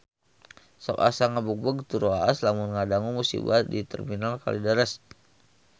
Sok asa ngagebeg tur waas lamun ngadangu musibah di Terminal Kalideres